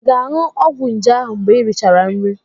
Ị ga-aṅụ ọgwụ nje ahu mgbe i richara nri?